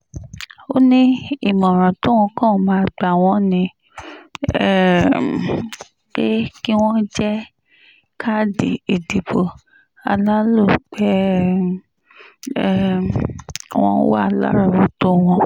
ó ní ìmọ̀ràn tóun kàn máa gbà wọ́n ni um pé kí wọ́n jẹ́ káàdì ìdìbò alálòpẹ́ um wọn wà lárọ̀ọ́wọ́tó wọn